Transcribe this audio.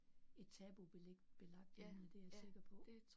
Et tabu belæg belagt emne det er jeg sikker på